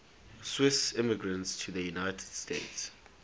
swiss immigrants to the united states